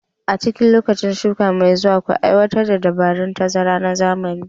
A cikin lokacin shuka mai zuwa, ku aiwatar da dabarun tazara na zamani